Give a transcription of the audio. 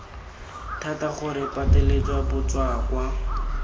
thata gore re pateletse batswakwa